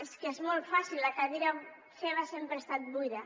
és que és molt fàcil la cadira seva sempre ha estat buida